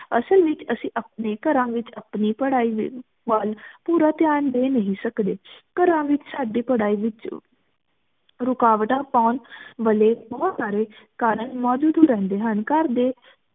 ਅਸਲ ਵਿਚ ਅੱਸੀ ਅਪਨੀ ਘਰਾਂ ਵਿਚ ਆਪਣੀ ਪਢ਼ਾਈ ਵਲ ਪੂਰਾ ਧਯਾਨ ਦੇਨਹੀਂ ਸਕਦੇ ਘਰਾਂ ਵਿਚ ਸਾਡੀ ਪਢ਼ਾਈ ਰੁਕਾਵਟਾਂ ਪਾਉਣ ਵਾਲੇ ਬੋਹਤ ਸਾਰੇ ਕਾਰਨ ਮੋਜੂਦ ਰਹਿੰਦੇ ਹਨ ਘਰ ਦੇ